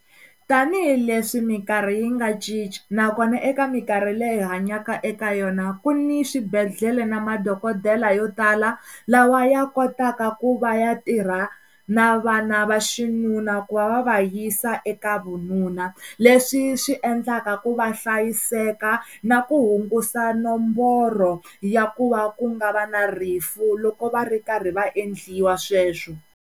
Tanihi leswi minkarhi yi nga cinca nakona eka minkarhi leyi hi hanyaka eka yona ku ni swibedhlele na madokodela yo tala lawa ya kotaka ku va ya tirha na vana va xinuna ku va va va yisa eka vununa leswi swi endlaka ku va hlayiseka na ku hungusa nomboro ya ku va ku nga va na rifu loko va ri karhi va endliwa sweswo.